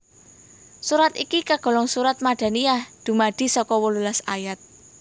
Surat iki kagolong surat Madaniyah dumadi saka wolulas ayat